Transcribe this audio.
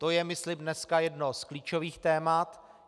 To je, myslím, dneska jedno z klíčových témat.